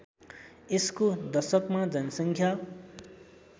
यसको दशकमा जनसङ्ख्या